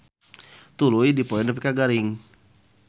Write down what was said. Tuluy dipoe nepi ka garing.